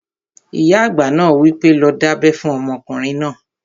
Ìyá àgbà náà wí pé, 'lọ dábẹ́ fún ọmọkùnrin náà!"